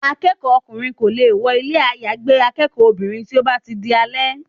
Akẹ́kọ̀ọ́ ọkùnrin kò lè wọ ilé àyágbé akẹ́kọ̀ọ́ obìnrin tí ó bá ti di alẹ́.